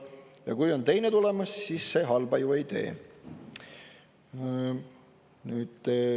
Ja kui on teine tulemas, siis see halba ju ei tee.